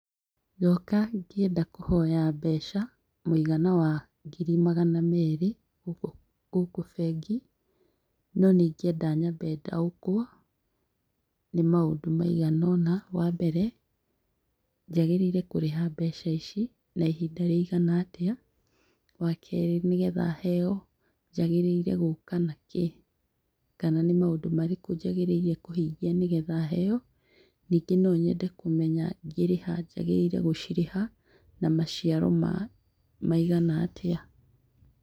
Ndoka ngĩenda kũhoya mbeca, mũigana wa ngiri magana merĩ gũkũ gũkũ bengi, no nĩ ingĩenda nyambe ndaũkwo, nĩ maũndũ maigana ũna. Wa mbere, njagĩrĩire kũrĩha mbeca ici na ihinda rĩigana atĩa? Wa kerĩ nĩ getha heo njagĩrĩire gũka na kĩ? Kana nĩ maũndũ marĩkũ njagĩrĩire kũhingia nĩgetha heo? Ningĩ no nyende kũmenya ngĩrĩha njagĩrĩire gũcirĩha na maciaro ma maigana atĩa?